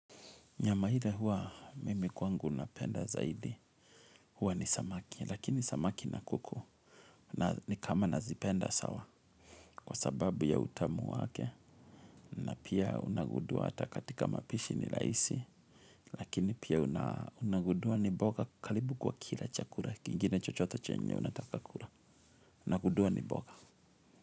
Nyama ile huwa mimi kwangu napenda zaidi huwa ni samaki lakini samaki na kuku na nikama nazipenda sawa kwa sababu ya utamu wake na pia unagundua hata katika mapishi ni rahisi lakini pia unagundua ni mboga karibu kwa kila chakula kingine chochote chenye unataka kula unagundua ni mboga.